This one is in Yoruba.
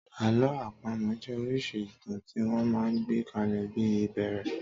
Àlọ́ àpamọ̀ jẹ́ oríṣìí ìtàn tí wọ́n máa ń gbé kalẹ̀ bí ìbẹ́èrè.